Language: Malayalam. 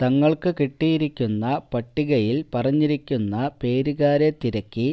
തങ്ങൾക്ക് കിട്ടിയിരിക്കുന്ന പട്ടികയിൽ പറഞ്ഞിരിക്കുന്ന പേരുകാരെ തിരക്കി